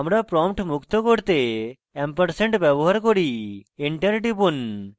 আমরা prompt মুক্ত করতে ampersand & ব্যবহার করি enter টিপুন